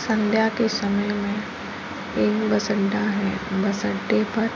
संध्या के समय में एक बस अड्डा है। बस अड्डे पर